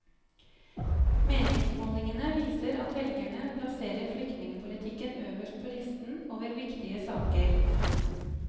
Meningsmålingene viser at velgerne plasserer flyktningepolitikken øverst på listen over viktige saker.